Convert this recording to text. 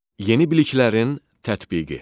Yeni biliklərin tətbiqi.